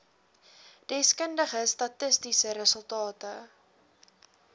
deskundige statistiese resultate